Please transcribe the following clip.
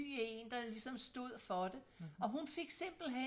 en der ligesom stod for det og hun fik simpelthen